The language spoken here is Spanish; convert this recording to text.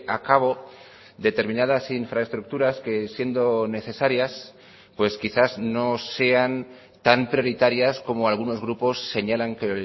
a cabo determinadas infraestructuras que siendo necesarias pues quizás no sean tan prioritarias como algunos grupos señalan que